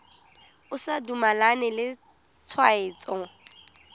o sa dumalane le tshwetso